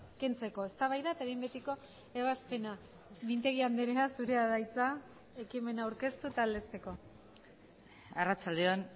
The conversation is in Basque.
kentzeko eztabaida eta behin betiko ebazpena mintegi andrea zurea da hitza ekimena aurkeztu eta aldezteko arratsalde on